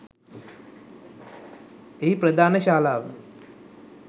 එහි ප්‍රධාන ශාලාව